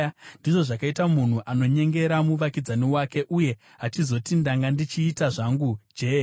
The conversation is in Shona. ndizvo zvakaita munhu anonyengera muvakidzani wake uye achizoti, “Ndanga ndichiita zvangu je-e!”